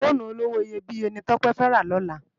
Fónú ólówó iyébiyé ni Tope fè rá lòlá